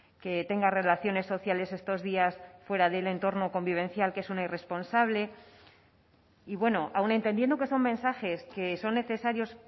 que tenga relaciones sociales estos días fuera del entorno convivencial que es una irresponsable y bueno aun entendiendo que son mensajes que son necesarios